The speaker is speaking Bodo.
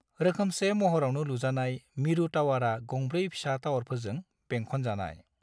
रोखोमसे महरावनो लुजानाय, मिरु टावारा गंब्रै फिसा टावारफोरजों बेंखनजानाय।